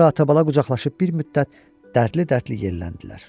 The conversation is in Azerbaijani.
Sonra ata-bala qucaqlaşıb bir müddət dərdli-dərdli yelləndilər.